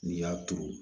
N'i y'a turu